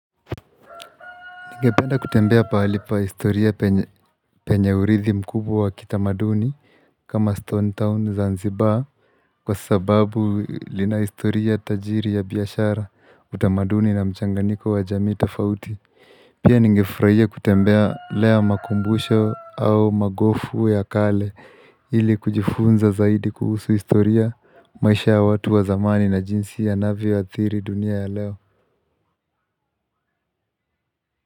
Nigependa kutembea palipa historia penye uridhi mkubwa wa kitamaduni kama Stone Town ZaNzibar kwa sababu lina historia tajiri ya biashara utamaduni na mchanganyiko wa jamio tofauti Pia ningefurahia kutembelea makumbusho au magofu ya kale ili kujifunza zaidi kuhusu historia maisha ya watu wa zamani na jinsi yanavyoadhiri dunia ya leo.